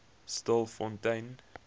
stilfontein